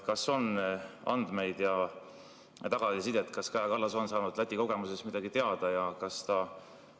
Kas on andmeid ja tagasisidet, kas Kaja Kallas on saanud Läti kogemusest midagi teada?